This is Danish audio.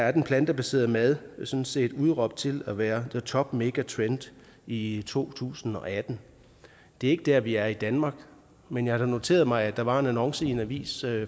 at den plantebaserede mad sådan set er udråbt til at være the top mega trend i i to tusind og atten det er ikke der vi er i danmark men jeg har da noteret mig at der var en annonce i en avis